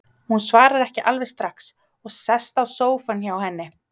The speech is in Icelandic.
Hann svarar ekki alveg strax og sest á sófann hjá henni.